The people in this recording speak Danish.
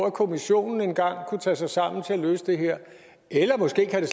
at kommissionen kan tage sig sammen til engang at løse det her måske kan